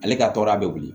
Ale ka tɔɔrɔya bɛ wuli